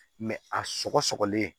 a sɔgɔlen